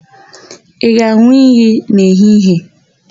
Ị ga-an̄ụ iyi n'ehihie?